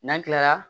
N'an tilala